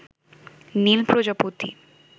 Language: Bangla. নীল প্রজাপতি